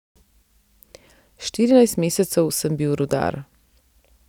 Štirinajst mesecev sem bil rudar.